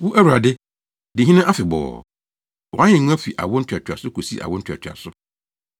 Wo, Awurade, di hene afebɔɔ; wʼahengua fi awo ntoatoaso kosi awo ntoatoaso.